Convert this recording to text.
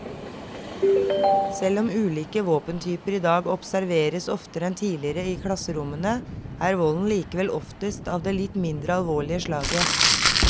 Selv om ulike våpentyper i dag observeres oftere enn tidligere i klasserommene, er volden likevel oftest av det litt mindre alvorlige slaget.